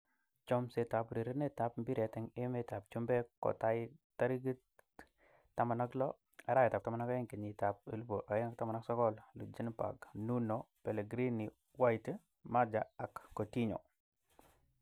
Chomset ab urerenet ab mbiret eng emet ab chumbek kotaai tarikit 16.12.2019: Ljungberg, Nuno, Pellegrini, White, Maja, Coutinho